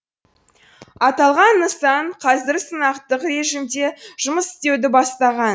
аталған нысан қазір сынақтық режимде жұмыс істеуді бастаған